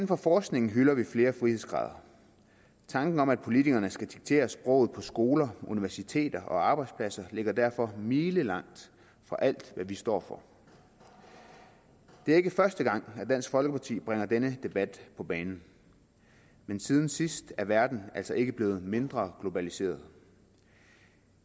for forskningen hylder vi flere frihedsgrader tanken om at politikerne skal diktere sproget på skoler universiteter og arbejdspladser ligger derfor milelangt fra alt hvad vi står for det er ikke første gang at dansk folkeparti bringer denne debat på banen men siden sidst er verden altså ikke blevet mindre globaliseret